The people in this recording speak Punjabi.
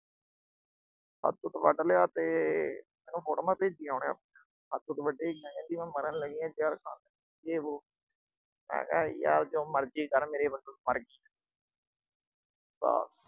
ਹੱਥ-ਹੁੱਥ ਵੱਢ ਲਿਆ ਤੇ ਮੈਨੂੰ photos ਭੇਜੀਆਂ ਉਹਨੇ ਆਪਣੀਆਂ। ਹੱਥ-ਹੁੱਥ ਵੱਢੇ ਦਿਆਂ, ਕਹਿੰਦੀ ਮੈਂ ਮਰਨ ਲੱਗੀ ਆ ਜ਼ਹਿਰ ਖਾਣ। ਯੋ ਬੋਅ। ਮੈਂ ਕਿਹਾ ਯਾਰ ਜੋ ਮਰਜੀ ਕਰ, ਮੇਰੇ ਵੱਲੋਂ ਮਰ ਗੀ। ਤਾ